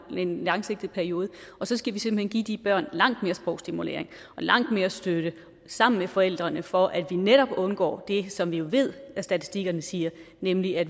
en lang periode og så skal vi simpelt hen give de børn langt mere sprogstimulering og langt mere støtte sammen med forældrene for netop at undgå det som vi ved statistikkerne siger nemlig at